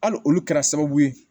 Hali olu kɛra sababu ye